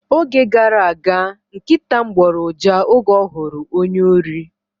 Oge gara aga, nkịta m gboro uja oge ọ hụrụ ónyé órí.